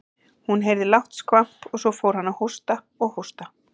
Hún heyrði lágt skvamp og svo fór hann að hósta og hósta.